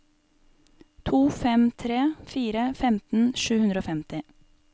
to fem tre fire femten sju hundre og femti